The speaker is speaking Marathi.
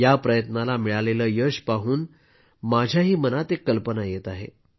या प्रयत्नाला मिळालेले यश पाहून माझ्याही मनात एक कल्पना येत आहे